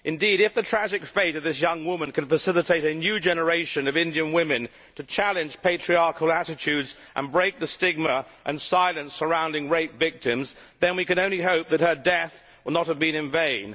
Indeed, if the tragic fate of this young woman can facilitate a new generation of Indian women to challenge patriarchal attitudes and break the stigma and silence surrounding rape victims, then we can only hope that her death will not have been in vain.